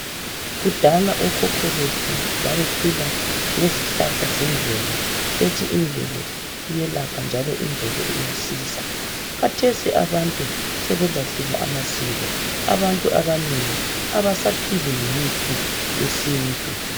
Kudala okhokho bethu babephila ngezihlahla zemvelo bethi imvelo iyabelapha njalo imvelo iyasiza. Khathesi abantu sebelahlile amasiko abantu abanengi abaphili ngemithi yesintu